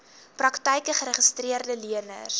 praktyke geregistreede leners